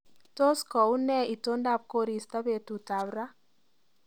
Tos kounee itondab koristo betutab raa